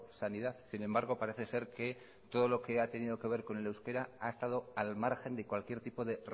sanidad sin embargo parece ser que todo lo que ha tenido que ver con el euskera ha estado al margen de cualquier tipo de